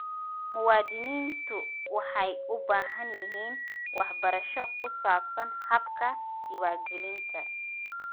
Muwaadiniintu waxay u baahan yihiin waxbarasho ku saabsan habka diiwaangelinta.